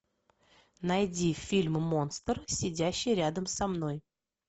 найди фильм монстр сидящий рядом со мной